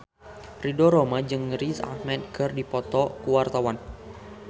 Ridho Roma jeung Riz Ahmed keur dipoto ku wartawan